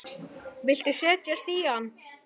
Viltu setjast í hann?